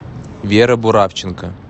вера буравченко